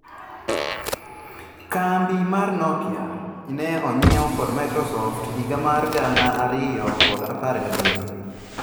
Kambi mar Nokia ne onyiew kod Microsoft higa mar gana ariyo kod apar gadek.